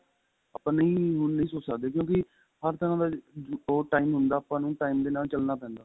ਆਪਾਂ ਨਹੀਂ ਹੁਣ ਨਹੀਂ ਸੋਚ ਸਕਦੇ ਕਿਉਂਕਿ ਹਰ ਤਰਾਂ ਦਾ ਉਹ time ਹੁੰਦਾ ਆਪਾਂ ਨੂੰ time ਦੇ ਨਾਲ ਚਲਣਾ ਪੈਂਦਾ